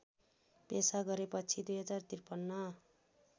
पेशा गरेपछि २०५३